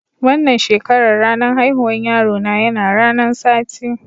Wanan shekaran, ranan haihuwan yaro na yana ranan Sati.